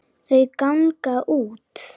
Þau ganga út.